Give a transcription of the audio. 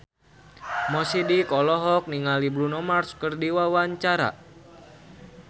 Mo Sidik olohok ningali Bruno Mars keur diwawancara